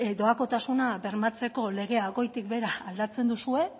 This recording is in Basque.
doakotasuna bermatzeko legea goitik behera aldatzen duzue